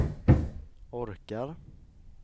orkar